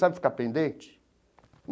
Sabe ficar pendente?